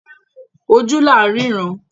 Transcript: Ojú la rínran.